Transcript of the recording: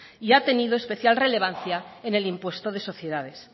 y ha tenido especial relevancia en el impuesto de sociedades